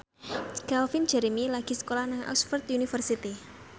Calvin Jeremy lagi sekolah nang Oxford university